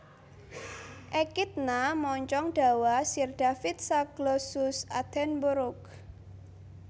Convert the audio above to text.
Ekidna moncong dawa Sir David Zaglossus attenborough